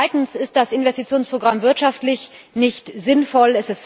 Zweitens ist das Investitionsprogramm wirtschaftlich nicht sinnvoll